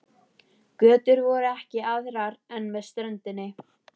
Götur voru ekki aðrar en með ströndinni.